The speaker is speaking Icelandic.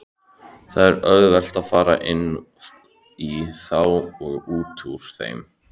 Það er auðvelt að fara inní þá og útúr þeim.